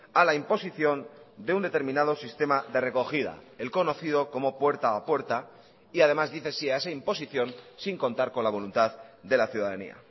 a la imposición de un determinado sistema de recogida el conocido como puerta a puerta y además dice sí a esa imposición sin contar con la voluntad de la ciudadanía